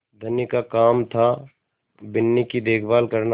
धनी का काम थाबिन्नी की देखभाल करना